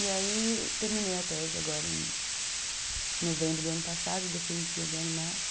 E aí terminei a tese agora em novembro do ano passado, defendi agora em março.